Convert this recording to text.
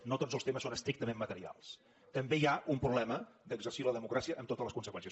no tots els temes són estrictament materials també hi ha un problema d’exercir la democràcia amb totes les conseqüències